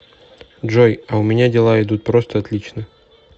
джой а у меня дела идут просто отлично